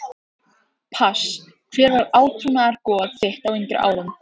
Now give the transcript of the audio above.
pass Hver var átrúnaðargoð þitt á yngri árum?